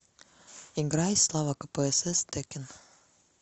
играй слава кпсс тэккен